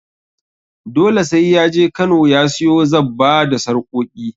Dole sai ya je Kano ya siyo zabba da sarƙoƙi.